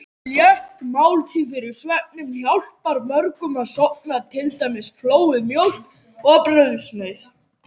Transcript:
Létt máltíð fyrir svefninn hjálpar mörgum að sofna, til dæmis flóuð mjólk og brauðsneið.